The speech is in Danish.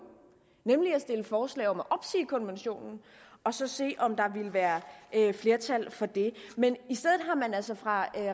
nemlig at stille forslag om at opsige konventionen og så se om der ville være flertal for det men i stedet har man altså fra